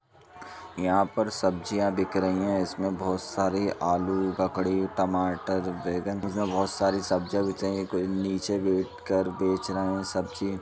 यहाँ पर सब्जियां बिक रही हैं इसमें बहोत सारी आलू ककड़ी टमाटर बैंगन यह सब बहोत सारी सब्जियां बिक रही हैं। कोई नीचे बैठकर बेच रहे हैं सब्जी।